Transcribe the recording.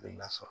I na sɔrɔ